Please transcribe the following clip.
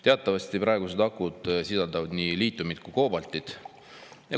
Teatavasti praegused akud sisaldavad nii liitiumi kui koobaltit.